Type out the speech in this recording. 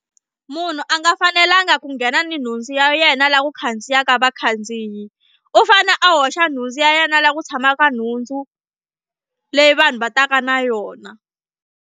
Munhu a nga fanelanga ku nghena ni nhundzu ya yena la ku khandziyaka vakhandziyi u fane a hoxa nhundzu ya yena laha ku tshamaka nhundzu leyi vanhu va taka na yona.